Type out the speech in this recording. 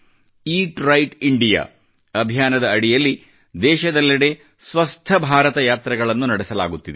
eat right India ಅಭಿಯಾನದ ಅಡಿಯಲ್ಲಿ ದೇಶದೆಲ್ಲೆಡೆ ಸ್ವಸ್ಥ ಭಾರತ ಯಾತ್ರೆಗಳನ್ನು ನಡೆಸಲಾಗುತ್ತಿದೆ